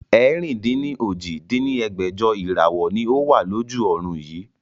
ẹ̀rin-dín-ní-ojì dín ní ẹgbẹ́jọ Ìràwọ́ ni ó wà lójú ọrùn yii